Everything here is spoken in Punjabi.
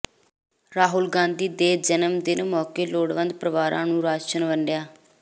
ਰਾਹੁਲ ਗਾਂਧੀ ਦੇ ਜਨਮ ਦਿਨ ਮੌਕੇ ਲੋੜਵੰਦ ਪਰਿਵਾਰਾਂ ਨੂੰ ਰਾਸ਼ਨ ਵੰਡਿਆ